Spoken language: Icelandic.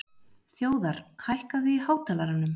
Þjóðar, hækkaðu í hátalaranum.